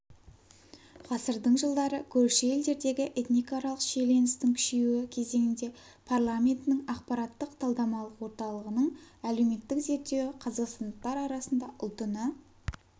ғасырдың жылдары көрші елдердегі этникааралық шиеленістің күшейюі кезеңінде парламентінің ақпараттық-талдамалық орталығының әлеуметтік зерттеуі қазақстандықтар арасында ұлтына